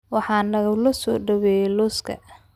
waxaa nalagu soo dhaweeyay lawska